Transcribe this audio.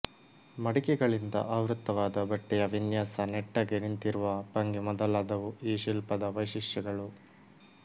ಮಡಿಕೆಗಳಿಂದ ಆವೃತ್ತವಾದ ಬಟ್ಟೆಯ ವಿನ್ಯಾಸ ನೆಟ್ಟಗೆ ನಿಂತಿರುವ ಭಂಗಿ ಮೊದಲಾದವು ಈ ಶಿಲ್ಪದ ವೈಶಿಷ್ಟ್ಯಗಳು